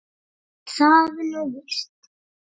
Er það nú víst ?